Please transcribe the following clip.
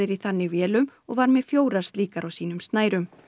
í þannig vélum og var með fjórar slíkar á sínum snærum